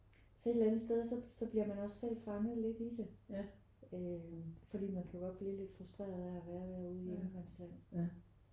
Så et eller andet sted så så bliver man også selv fanget lidt i det øh fordi man kan jo godt blive lidt frustreret at være derude i ingenmandsland